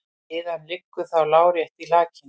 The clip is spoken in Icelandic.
Iðan liggur þá lárétt í lakinu.